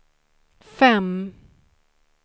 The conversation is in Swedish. fem